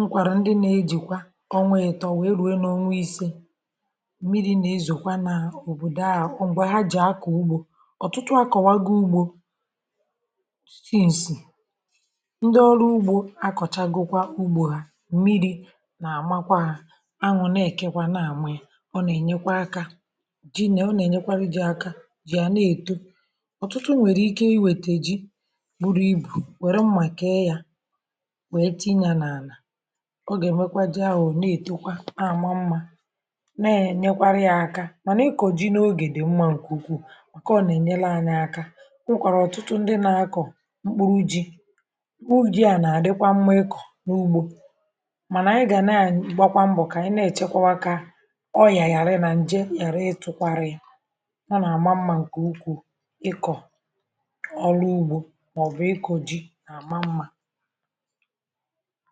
nkwàrà ndị na-ejìkwa ọnwȧ ghìtọ̀ wee ruė n’onwe ise mmiri̇ na-ezùkwa n’òbòdò à ọ̀ m̀gbè ha jì akọ̀ ugbȯ ọ̀tụtụ akọ̀wago ugbȯ akọ̀chagukwa ugbȯ ha mmiri̇ nà àmakwa ha anwụ̇ nà èkekwa na ànwụ ya ọ nà ènyekwa akȧ jinė ọ nà ènyekwara jị̇ aka jì à na èto ọ̀tụtụ nwèrè ike iwètè ji buru ibù wère mmà kee ya wère tinye nà àlà ọ gà ẹ̀mẹkwa ji ahụ̀ na ètekwa na àma mmȧ nà ẹ̀nyẹkwara ya aka mànà ị kọ̀ ji n’ogè dị̀ mmȧ ǹkè ukwuu ọ kọọ nà ẹ̀nyẹlẹ anya aka kwa nwèkwàrà ọ̀tụtụ ndị nà akọ̀ mkpuru ji mànà anyị gà naà igbakwa mbọ̀ kà ànyị na-èchekwa kà ọ yà ghàrị nà ǹje ghàra ịtụ̇kwarị yȧ ọ nà-àma mmȧ ǹkè ukwù ịkọ̀ ọrụ ugbȯ mà ọ̀ bụ̀ ịkọ̇ ji nà-àma mmȧ